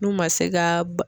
N'u ma se ga b